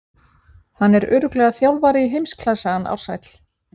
Hann er örugglega þjálfari í heimsklassa hann Ársæll.